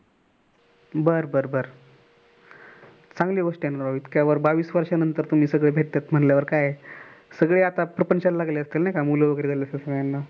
बर बर चांगली गोष्ट आहे न राव इतक्या बावीस वर्ष्यानंतरतुम्ही सगळे भेटतायेत म्हणल्यावर काय सगळे आता प्रपंचाला लागले असतील नाही का मुलं वगैरे झाली असतील.